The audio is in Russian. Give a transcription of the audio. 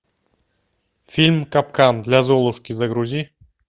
фильм капкан для золушки загрузи